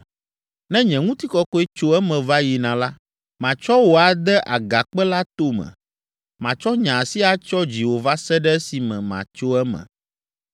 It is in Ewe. Ne nye ŋutikɔkɔe tso eme va yina la, matsɔ wò ade agakpe la tome. Matsɔ nye asi atsyɔ dziwò va se ɖe esime matso eme.